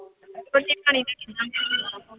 ਰੋਟੀ ਪਾਣੀ ਦਾ ਕਿੱਦਾਂ